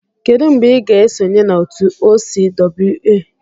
Kedu mgbe ị ga-esonye na otu OCWA?